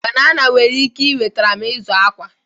banana nwere ike nweta m izu akwụ?